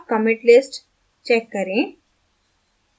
अब commit list check करें